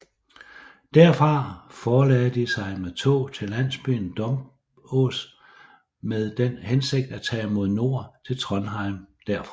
Derfra forlagde de sig med tog til landsbyen Dombås med den hensigt at tage mod nord til Trondheim derfra